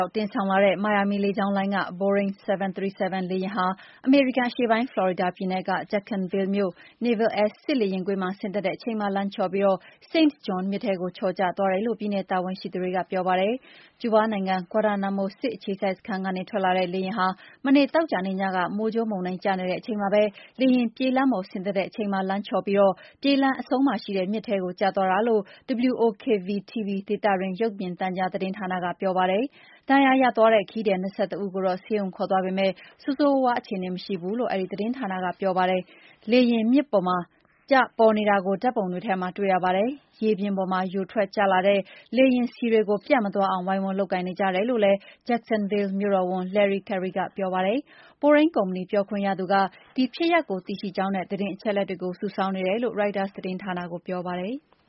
ောက် တင်ဆောင်လာတဲ့ မိုင်ယာမီလေကြာင်းလိုင်းက ဘိုးရိမ်း ၇၃၇ လေယာဉ်ကြီးဟာ အမေရိကန်အရှေ့ပိုင်း ဖလော်ရီဒါပြည်နယ်က Jacksonville မြို့ Naval Air စစ်လေယာဉ်ကွင်းမှာ ဆင်းသက်တဲ့အချိန် လမ်းချော်ပြီး Saint John မြစ်ထဲကို ချော်ကျသွားတယ်လို့ ပြည်နယ် တာဝန်ရှိသူတွေက ပြောပါတယ်။ ကျူးလား နိုင်ငံ၊ ဂွါတာနာမို စစ်အခြေစိုက်စခန်းက ထွက်လာတဲ့ လေယာဉ်ကြီးဟာ မနေ့ သောကြာနေ့ညက မိုးကြိုးမုန်တိုင်းကျနေတဲ့အချိန်မှာပဲ လေယာဉ်ပြေးလမ်းပေါ် ဆင်းသက်တဲ့အချိန် လမ်းချော်ပြီး ပြေးလမ်းအဆုံးမှာရှိနေတဲ့ မြစ်ထဲကျသွားတာလို့ WOKV-TV ဒေသတွင်း ရုပ်မြင်သံကြားဌာနက ပြောပါတယ်။ ဒဏ်ရရသွားတဲ့ ခရီးသည် ၂၁ ဦးကိုတော့ ဆေးရုံခေါ်သွားပေမယ့် ဆိုးဆိုးရွားရွားအခြေအနေမရှိဘူးလို့ WOKV-TV သတင်းဌာနက ပြောပါတယ်။ အဲဒီ လေယာဉ် မြစ်ပေါ်မှာ ပေါ်နေတာကို ဓာတ်ပုံတွေထဲမှာ တွေ့ရပါတယ်။ ရေပြင်ပေါ် ယိုထွက်ကျလာတဲ့ လေယာဉ်ဆီတွေကို ပြန့်မသွားအာင် ဝိုင်းဝန်း လုပ်ကိုင်နေကြတယ်လို့ Jacksonville မြို့တော်ဝန် Lenny Curry ကပြောပါတယ်။ ဘိုးရိမ်းကုမ္ပဏီပြောခွင့်ရသူက ဒီဖြစ်ရပ်ကို သိရှိကြောင်းနဲ့ သတင်းအချက်အလက်တွေကို စုဆောင်းနေတယ်လို့ ရိုက်တာသတင်းဌာနကို ပြောပါတယ်။